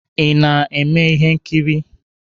Ị na-eme ihe nkiri?